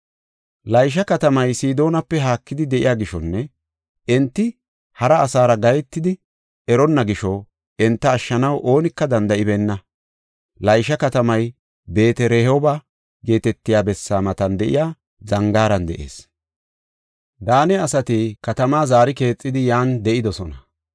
Laysha katamay Sidoonape haakidi de7iya gishonne enti hara asara gahetidi eronna gisho enta ashshanaw oonika danda7ibeenna. Laysha katamay Beet-Rehooba geetetiya bessaa matan de7iya zangaaran de7ees. Daane asati katamaa zaari keexidi yan de7idosona.